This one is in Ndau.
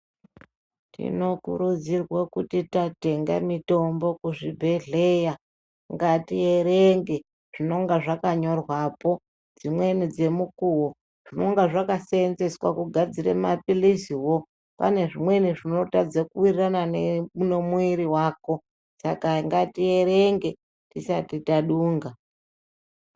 Tinokurudzirwa kuti tatenga mitombo kuzvibhehleya kuti ngatierenge zvinenge zvakanyorwapo dzimweni dzemukuwo zvinenge zvakasenzeswa kugadzirara mapiliziwo pane zvinotadzadza kuwirirana nemwuwiri wako saka ngatierenge tisati tadunga